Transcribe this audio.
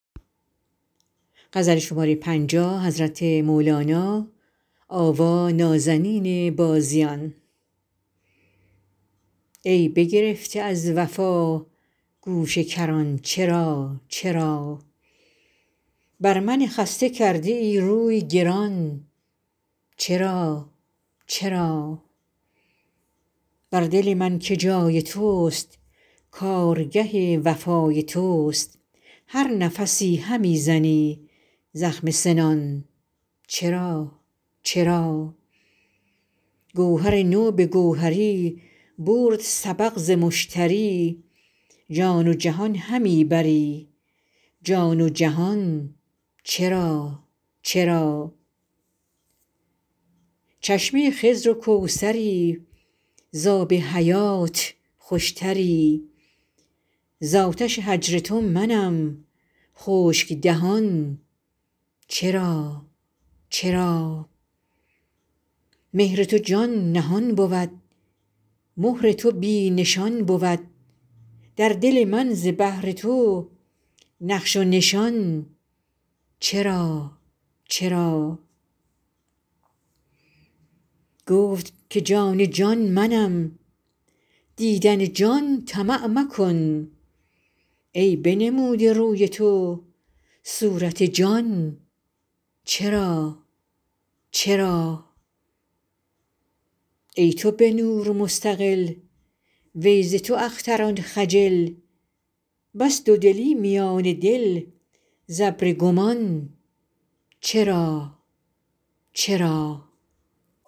ای بگرفته از وفا گوشه کران چرا چرا بر من خسته کرده ای روی گران چرا چرا بر دل من که جای تست کارگه وفای تست هر نفسی همی زنی زخم سنان چرا چرا گوهر تو به گوهری برد سبق ز مشتری جان و جهان همی بری جان و جهان چرا چرا چشمه خضر و کوثری ز آب حیات خوشتری ز آتش هجر تو منم خشک دهان چرا چرا مهر تو جان نهان بود مهر تو بی نشان بود در دل من ز بهر تو نقش و نشان چرا چرا گفت که جان جان منم دیدن جان طمع مکن ای بنموده روی تو صورت جان چرا چرا ای تو به نور مستقل وی ز تو اختران خجل بس دودلی میان دل ز ابر گمان چرا چرا